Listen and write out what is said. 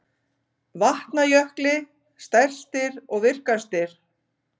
Vatnajökli stærstir og virkastir.